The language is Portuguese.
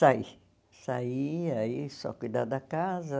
Saí, saí, aí só cuidar da casa.